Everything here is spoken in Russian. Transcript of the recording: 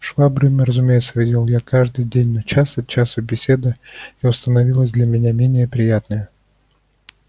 швабриным разумеется видел я каждый день но час от часу беседа его становилась для меня менее приятная